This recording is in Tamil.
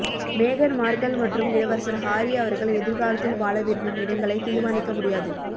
மேகன் மார்கல் மற்றும் இளவரசர் ஹாரி அவர்கள் எதிர்காலத்தில் வாழ விரும்பும் இடங்களை தீர்மானிக்க முடியாது